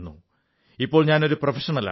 ഇപ്പോൾ ഞാനൊരു പ്രൊഫഷണലാണ്